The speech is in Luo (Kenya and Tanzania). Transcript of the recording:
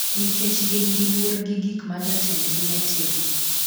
nikech gin gi luor gi gik ma jotendgi netimo